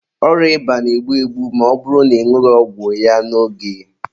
Ọrịa ịba na-egbu egbu ma ọ bụrụ na ị nwụghị ọgwụ n'oge.